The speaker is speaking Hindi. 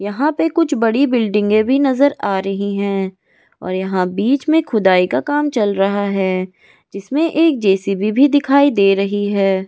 यहाँ पे कुछ बड़ी बिल्डिंगे भी नजर आ रही है और यहाँ बिच में खुदाई का काम चल रहा है जिस में एक जे.सी.बी भी दिखाई दे रही है।